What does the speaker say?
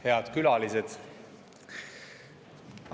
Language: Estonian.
Head külalised!